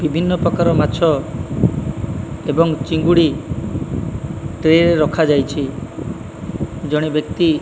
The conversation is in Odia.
ବିଭିନ୍ନ ପ୍ରକାର ମାଛ ଏବଂ ଚିଙ୍ଗୁଡ଼ି ଟ୍ରେ ରଖା ଯାଇଛି ଜଣେ ବ୍ୟକ୍ତି --